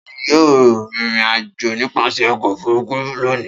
Ta ni yóò rìnrìn-àjò nípasẹ̀ ọkọ̀-òfurufú lónìí?